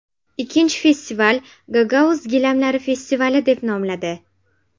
Ikkinchi festival Gagauz gilamlari festivali deb nomladi.